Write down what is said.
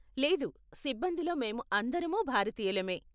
లేదు, సిబ్బందిలో మేము అందరమూ భారతీయులమే.